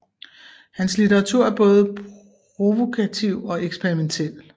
Hans litteratur er både provokativ og eksperimentiel